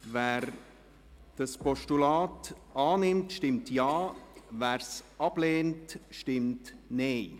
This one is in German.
Wer dieses Postulat annimmt, stimmt Ja, wer es ablehnt, stimmt Nein.